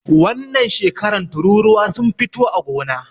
Wannan shekaran tururuwa sun fito a gona na